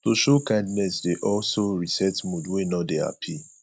to show kindness dey also reset mood wey no de happy